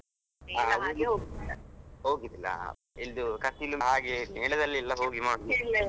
ಹಾ ಹೋಗಿದ್ಲಾ ಇದು ಕಟೀಲು ಹಾಗೆ ಮೇಳದಲ್ಲಿ ಎಲ್ಲ ಹೋಗಿ ಮಾಡುದ್.